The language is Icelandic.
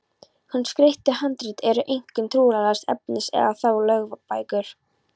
Hin skreyttu handrit eru einkum trúarlegs efnis eða þá lögbækur.